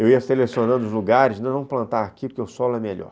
Eu ia selecionando os lugares, não plantar aqui porque o solo é melhor.